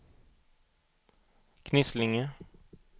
Knislinge